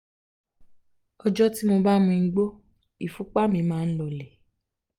ọjọ́ tí mo bá mu igbó ìfúnpá mi máa ń lọọlẹ̀